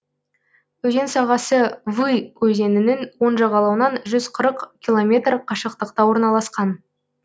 өзен сағасы вы өзенінің оң жағалауынан жүз қырық километр қашықтықта орналасқан